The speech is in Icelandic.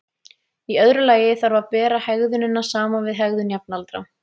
Í öðru lagi þarf að bera hegðunina saman við hegðun jafnaldra.